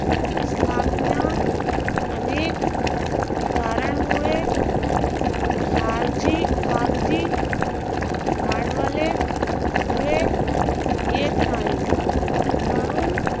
स्थापना अनेक कारणमुळे खाजी खागजी भांडवले मुळे येत नाही. म्हणून